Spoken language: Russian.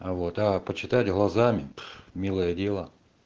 а вот а почитать глазами милое дело